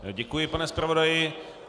Děkuji, pane zpravodaji.